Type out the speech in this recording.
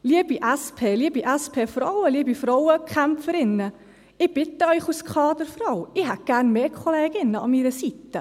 Liebe SP, liebe SP-Frauen, liebe Frauenkämpferinnen, als Kaderfrau bitte ich Sie: Ich hätte gerne mehr Kolleginnen an meiner Seite.